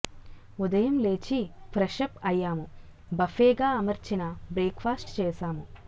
ఉదయం లేచి ఫ్రెషప్ అయ్యాము బఫే గా అమర్చిన బ్రేక్ ఫాస్ట్ చేసాము